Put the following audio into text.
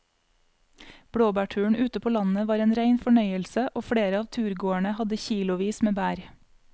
Blåbærturen ute på landet var en rein fornøyelse og flere av turgåerene hadde kilosvis med bær.